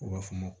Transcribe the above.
U b'a fɔ ma